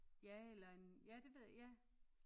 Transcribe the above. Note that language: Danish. Ja eller en ja det ved jeg ja